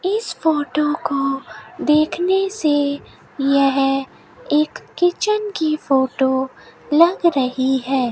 इस फोटो को देखने से यह एक किचन की फोटो लग रही है।